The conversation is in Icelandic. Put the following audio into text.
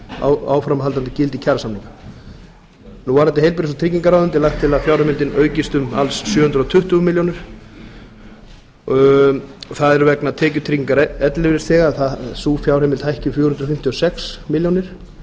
um áframhaldandi gildi kjarasamninga varðandi heilbrigðis og tryggingaráðuneytið er lagt til að fjárheimildin aukist um alls sjö hundruð tuttugu milljónir það er vegna tekjutrygginga ellilífeyrisþega að sú fjárhæð hækki um fjögur hundruð fimmtíu og sex milljónir